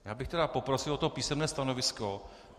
Já bych tedy poprosil o to písemné stanovisko.